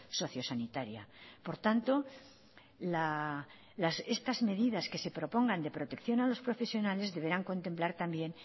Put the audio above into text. socio sanitaria por tanto estas medidas que se propongan de protección a los profesionales deberán contemplar también